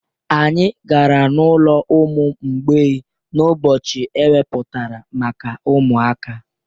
Anyị gara n'ụlọ ụmụ mgbei n'ụbọchị ewepụtara maka ụmụaka